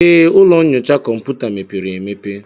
Ee, ụlọ nyocha kọmputa mepere emepe.